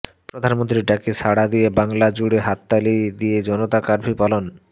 প্রধানমন্ত্রীর ডাকে সাড়া দিয়ে বাংলা জুড়ে হাততালি দিয়ে জনতা কার্ফু পালন